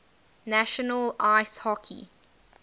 national ice hockey